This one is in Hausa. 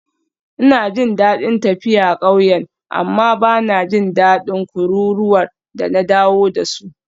Ina jin daɗin tafiya ƙauyen amma ba na jin daɗin kururuwar da na dawo da su.